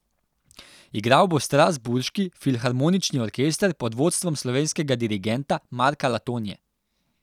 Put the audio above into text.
Igral bo strasbourški filharmonični orkester pod vodstvom slovenskega dirigenta Marka Letonje.